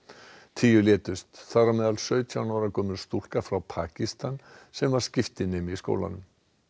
tíu létust þar á meðal sautján ára gömul stúlka frá Pakistan sem var skiptinemi í skólanum